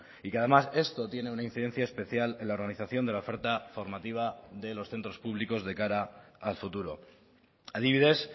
y que además esto tiene una incidencia especial en la organización de la oferta formativa de los centros públicos de cara al futuro adibidez